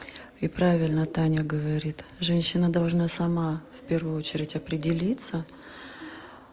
и правильно таня говорит женщина должна сама в первую очередь определиться